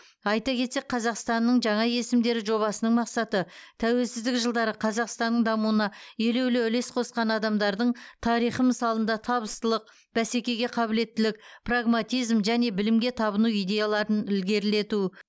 айта кетсек қазақстанның жаңа есімдері жобасының мақсаты тәуелсіздік жылдары қазақстанның дамуына елеулі үлес қосқан адамдардың тарихы мысалында табыстылық бәсекеге қабілеттілік прагматизм және білімге табыну идеяларын ілгерілету